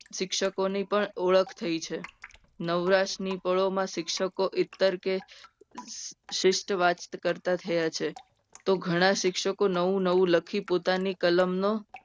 શિક્ષકોની પણ ઓળખ થઈ છે. નવરાશની ફળોમાં શિક્ષકો ઈતર કે શિસ્ત વાત કરતા થયા છે. તો ઘણા શિક્ષકો નવ નવ લખી પોતાની કલમનો